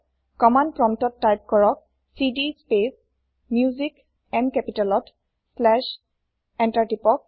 command প্ৰম্পতত type কৰক cd space Musicম কেপিতালত শ্লেচ এন্তাৰ টিপক